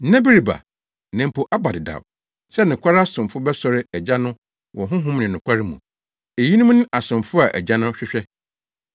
Nna bi reba, na mpo aba dedaw, sɛ nokware asomfo bɛsɔre Agya no wɔ Honhom ne nokware mu. Eyinom ne asomfo a Agya no hwehwɛ.